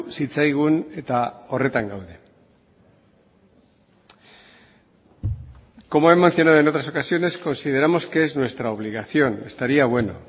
zitzaigun eta horretan gaude como he mencionado en otras ocasiones consideramos que es nuestra obligación estaría bueno